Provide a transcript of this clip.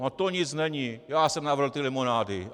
- No to nic není, já jsem navrhl ty limonády!